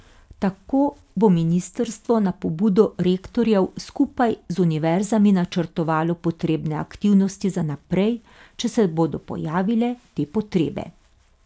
Tako bo ministrstvo na pobudo rektorjev skupaj z univerzami načrtovalo potrebne aktivnosti za naprej, če se bodo pojavile te potrebe.